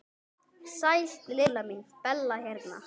Sæl Lilla mín, Bella hérna.